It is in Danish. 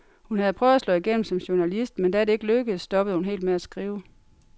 Hun havde prøvet at slå igennem som journalist, men da det ikke lykkedes, stoppede hun helt med at skrive.